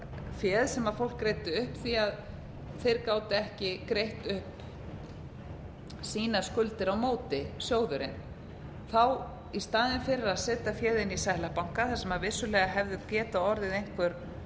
féð sem fólk greiddi upp því að þeir gátu ekki greitt upp sínar skuldir a móti sjóðurinn þá í staðinn fyrir að setja féð inn í seðlabanka þar sem vissulega hefðu getað orðið einhver